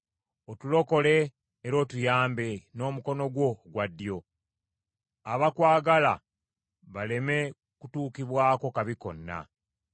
Otulokole era otuyambe n’omukono gwo ogwa ddyo, abakwagala baleme kutuukibwako kabi konna.